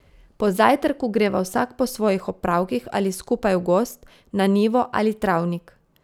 Po zajtrku greva vsak po svojih opravkih ali skupaj v gozd, na njivo ali travnik.